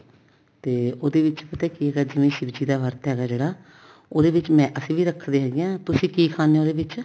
ਤੇ ਉਹਦੇ ਵਿੱਚ ਪਤਾ ਕੀ ਹੈਗਾ ਜਿਵੇਂ ਸ਼ਿਵ ਜੀ ਦਾ ਵਰਤ ਹੈਗਾ ਜਿਹੜਾ ਉਹਦੇ ਵਿੱਚ ਮੈਂ ਅਸੀਂ ਵੀ ਰੱਖਦੇ ਹੈਗੇ ਹਾਂ ਤੁਸੀਂ ਕੀ ਖਾਂਦੇ ਓ ਉਹਦੇ ਵਿੱਚ